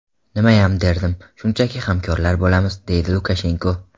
Nimayam derdim, shunchaki hamkorlar bo‘lamiz”, deydi Lukashenko.